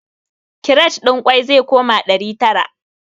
Kiret ɗin ƙwai zai koma ɗari tara